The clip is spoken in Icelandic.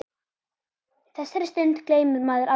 Þessari stundu gleymir maður aldrei.